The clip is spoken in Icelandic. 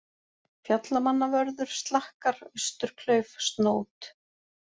Fjallamannavörður, Slakkar, Austurklauf, Snót